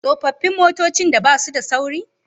Tsofaffin motocin da basu da sauri